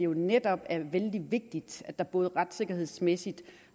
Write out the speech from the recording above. netop er vældig vigtigt at der både retssikkerhedsmæssigt